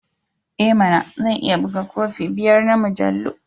I mana! Zan iya buga kofi biyar na mujallu.